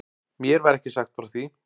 Mér var ekki sagt frá því.